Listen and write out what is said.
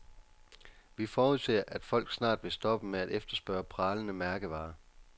Vi forudser, at folk snart vil stoppe med at efterspørge pralende mærkevarer.